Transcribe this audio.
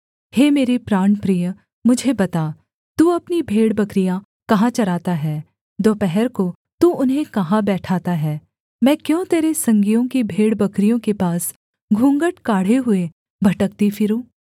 हे मेरे प्राणप्रिय मुझे बता तू अपनी भेड़बकरियाँ कहाँ चराता है दोपहर को तू उन्हें कहाँ बैठाता है मैं क्यों तेरे संगियों की भेड़बकरियों के पास घूँघट काढ़े हुए भटकती फिरूँ